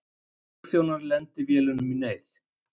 Flugþjónar lendi vélunum í neyð